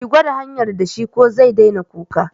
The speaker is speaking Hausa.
Ki gwada shayar da shi ko zai daina kuka.